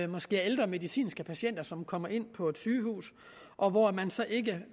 måske er ældre medicinske patienter som kommer ind på et sygehus og hvor man så ikke